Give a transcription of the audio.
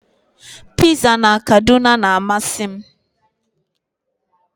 Piza na Kaduna na-amasị m